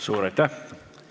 Suur aitäh!